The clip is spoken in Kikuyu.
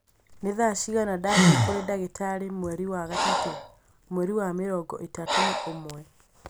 Nĩ thaa ciigana ndathiĩ kũrĩ ndagĩtarĩ mweri wa gatatũ, mweri wa mĩrongo ĩtatũ na ũmwe